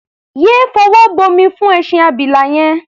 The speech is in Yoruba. Yé fọwọ́ bomi fún ẹṣin abila yẹn!.